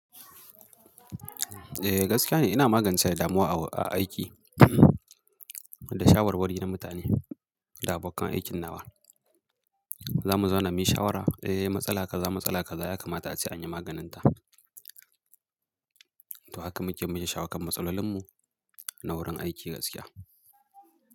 Eh gaskiya ne ina magance damuwa a aiki da shawarwari na mutane da abokan aikin nawa. Za mu zauna muyi shawara, eh matsala kaza matsala kaza ya kamata a ce anyi maganinta. To haka muke mu shawo kan matsalolinmu na wurin aiki gaskiya.